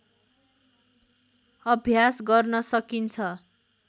अभ्यास गर्न सकिन्छ